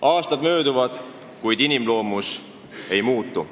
Aastad mööduvad, kuid inimloomus ei muutu.